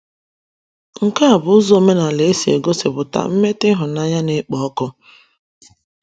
Nke a bụ ụzọ omenala e si egosipụta mmetụta ịhụnanya na - ekpo ọkụ.